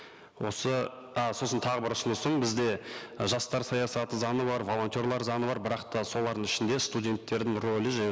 осы а сосын тағы бір ұсынысым бізде жастар саясаты заңы бар волонтерлар заңы бар бірақ та солардың ішінде студенттердің рөлі және